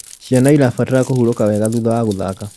Ciana irabatara kũhũrũka wega thutha wa guthaka